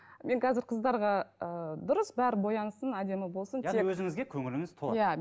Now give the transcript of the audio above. мен қазір қыздарға ы дұрыс бәрі боянсын әдемі болсын яғни өзіңізге көңіліңіз толады иә